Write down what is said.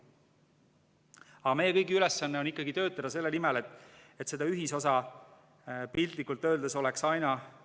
Aga meie kõigi ülesanne on töötada selle nimel, et seda ühisosa piltlikult öeldes oleks aina rohkem.